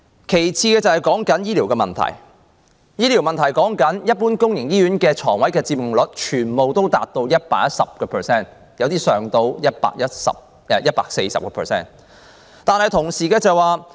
其次是醫療問題，一般公營醫院病床的佔用率全部達到 110%， 有些更高達 140%。